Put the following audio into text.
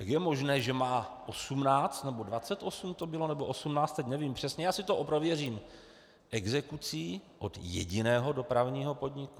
Jak je možné, že má 18 - nebo 28 to bylo? - nebo 18, teď nevím přesně, já si to prověřím, exekucí od jediného dopravního podniku?